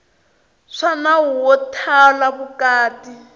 swa nawu wo thala vukati